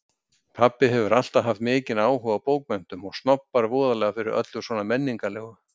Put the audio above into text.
Pabbi hefur alltaf haft mikinn áhuga á bókmenntum og snobbar voðalega fyrir öllu svona menningarlegu.